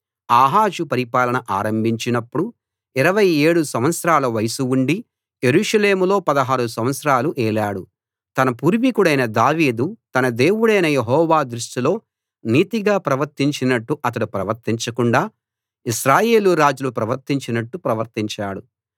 ఆహాజు పరిపాలన ఆరంభించినప్పుడు 27 సంవత్సరాల వయస్సు ఉండి యెరూషలేములో 16 సంవత్సరాలు ఏలాడు తన పూర్వికుడైన దావీదు తన దేవుడైన యెహోవా దృష్టిలో నీతిగా ప్రవర్తించినట్టు అతడు ప్రవర్తించకుండా ఇశ్రాయేలు రాజులు ప్రవర్తించినట్టు ప్రవర్తించాడు